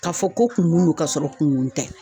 Ka fɔ ko kunkun don ka sɔrɔ kunkun tɛ.